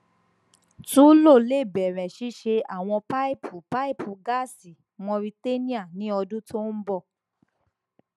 tullow le bẹrẹ ṣiṣẹ awọn paipu paipu gaasi mauritania ni ọdun to n bọ